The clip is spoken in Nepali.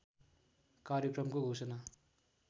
कार्यक्रमको घोषणा